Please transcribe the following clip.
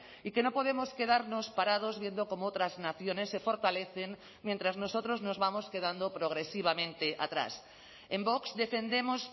y que no podemos quedarnos parados viendo cómo otras naciones se fortalecen mientras nosotros nos vamos quedando progresivamente atrás en vox defendemos